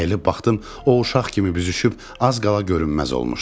Əyilib baxdım, o uşaq kimi büzüşüb az qala görünməz olmuşdu.